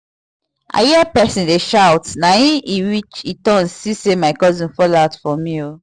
i hear person dey shout na e i turn see say na my cousin fall out for me o